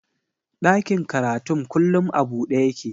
Ɗakin karatun kullum a buɗe yake